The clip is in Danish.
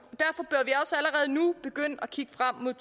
og nu begynde at kigge frem mod